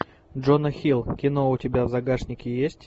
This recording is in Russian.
джона хилл кино у тебя в загашнике есть